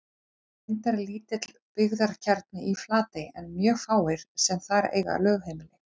Reyndar er lítill byggðakjarni í Flatey en mjög fáir sem þar eiga lögheimili.